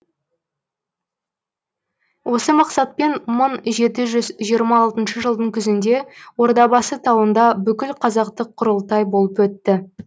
осы мақсатпен мың жеті жүз жиырма алтыншы жылдың күзінде ордабасы тауында бүкілқазақтық құрылтай болып өтті